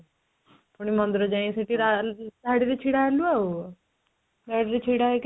ପୁଣି ମନ୍ଦିର ଯାଇ ସେଠି ଧାଡିରେ ଛିଡା ହେଲୁ ଆଉଧାଡିରେ ଛିଡା ହେଇକି